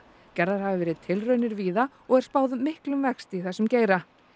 gerðar hafa verið tilraunir víða og er spáð miklum vexti í þessum geira